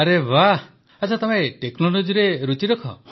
ଆରେ ବାଃ ଆଚ୍ଛା ତମେ technologyରେ ରୁଚି ରଖ